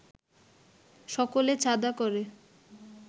সকলে চাঁদা করে